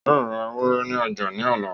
Yóò ra ewúrẹ́ ní ọjà ní ọ̀la